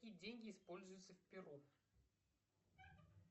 какие деньги используются в перу